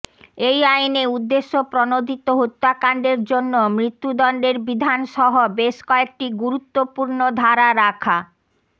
এই আইনে উদ্দেশ্যপ্রণোদিত হত্যাকাণ্ডের জন্য মৃত্যুদণ্ডের বিধানসহ বেশ কয়েকটি গুরুত্বপূর্ণ ধারা রাখা